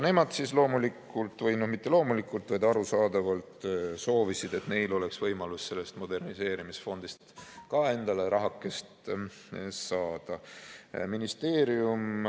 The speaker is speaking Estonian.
Nemad siis loomulikult või mitte loomulikult, vaid arusaadavalt soovisid, et neil oleks võimalus sellest moderniseerimisfondist ka endale rahakest saada.